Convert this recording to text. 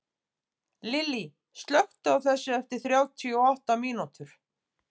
Lilly, slökktu á þessu eftir þrjátíu og átta mínútur.